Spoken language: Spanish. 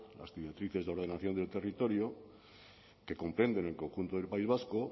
las directrices de ordenación del territorio que comprenden el conjunto del país vasco